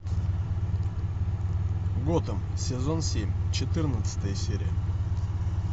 готэм сезон семь четырнадцатая серия